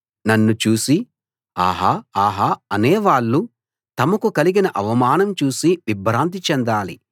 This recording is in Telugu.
నన్ను చూసి ఆహా ఆహా అనే వాళ్ళు తమకు కలిగిన అవమానం చూసి విభ్రాంతి చెందాలి